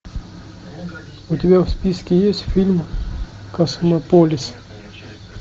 у тебя в списке есть фильм космополис